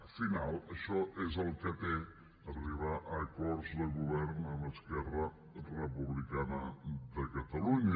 al final això és el que té arribar a acords de govern amb esquerra republicana de catalunya